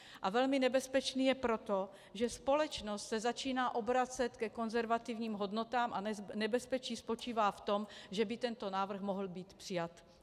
A velmi nebezpečný je proto, že společnost se začíná obracet ke konzervativním hodnotám, a nebezpečí spočívá v tom, že by tento návrh mohl být přijat.